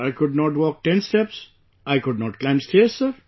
I could not walk ten steps, I could not climb stairs Sir